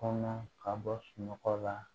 Kɔnɔ ka bɔ sunɔgɔ la